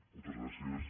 moltes gràcies